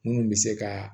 Munnu bɛ se ka